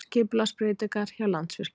Skipulagsbreytingar hjá Landsvirkjun